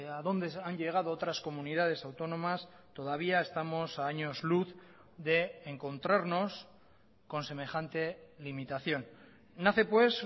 a donde han llegado otras comunidades autónomas todavía estamos a años luz de encontrarnos con semejante limitación nace pues